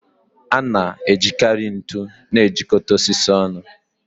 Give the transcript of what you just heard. A na-ejikarị ntu na-ejikọta osisi ọnụ